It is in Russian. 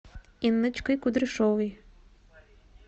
инночкой кудряшовой